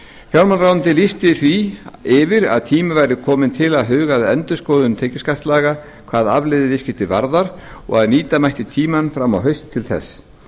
fjármálaráðuneytið lýsti því yfir að tími væri kominn til að huga að endurskoðun tekjuskattslaga hvað afleiðuviðskipti varðar og að nýta mætti tímann fram á haust til þess